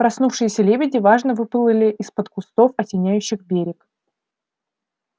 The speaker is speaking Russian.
проснувшиеся лебеди важно выплывали из-под кустов осеняющих берег